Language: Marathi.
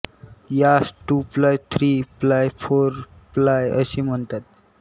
यास two ply three ply four ply असे म्हणतात